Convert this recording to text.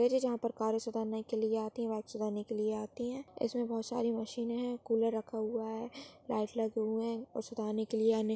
Garage जहा पर car सुधारने के लिए आती है बाइक सुधारने के लिए आती है इसमे बहुत सारी मशीने है कूलर रखा हुआ है लाइट लगे हुए है। और सुधारने के लिए--